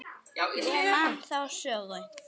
Ég man þá sögu.